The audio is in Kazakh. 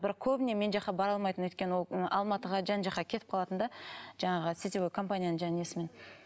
бірақ көбіне мен жаққа бара алмайтын өйткені ол ы алматыға жан жаққа кетіп қалатын да жаңағы сетевой компанияның жаңағы несімен